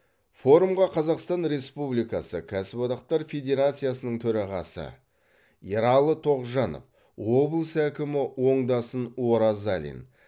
форумға қазақстан республикасы кәсіпдақтар федерациясының төрағасы ералы тоғжанов облыс әкімі оңдасын оразалин